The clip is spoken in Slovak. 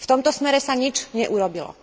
V tomto smere sa nič neurobilo.